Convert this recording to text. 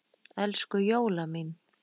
Elsku Jóla mín.